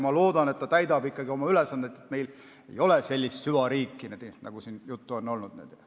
Ma loodan, et ta täidab oma ülesandeid, et meil ei ole sellist süvariiki, nagu siin juttu on olnud.